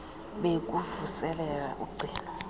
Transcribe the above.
bee kukuvuselela ugcino